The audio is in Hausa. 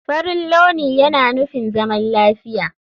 Farin launi yana nufin zaman lafiya.